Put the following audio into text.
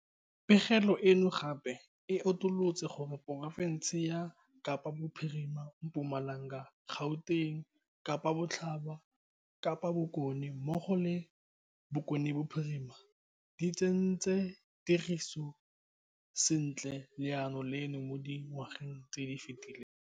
Pegelo eno gape e utolotse gore porofense ya Kapa Bophirima, Mpumalanga, Gauteng, Kapa Botlhaba, Kapa Bokone mmogo le Bokone Bophirima di tsentse tirisong sentle lenaane leno mo dingwageng tse di fetileng.